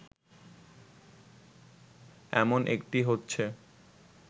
এমন একটি হচ্ছে